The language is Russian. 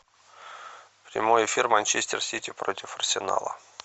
прямой эфир манчестер сити против арсенала